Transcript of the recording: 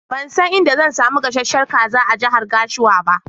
Ban san inda zan samu gasasshen kaza a jahar Gashua ba.